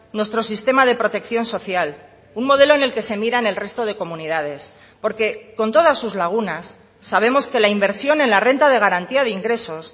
nuestro sistema de protección social un modelo en el que se miran el resto de comunidades porque con todas sus lagunas sabemos que la inversión en la renta de garantía de ingresos